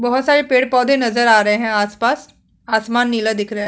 बहोत सारे पेड़-पौधे नज़र आ रहे है आस-पास आसमान नीला दिख रहा--